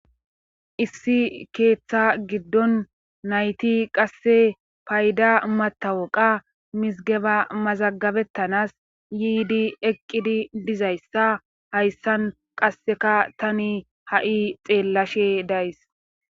issi keeththa giddon nayti qasse payda matawoqa misgeba mazagabettanas yiidi eqqidi dizayssa hayssan qasseka tani ha7i xeellashe days